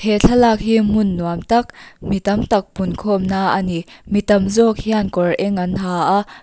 he thlalak hi hmun nuam tak mi tamtak pun khawm na a ni mi tam zawkk hian kawr eng an ha a.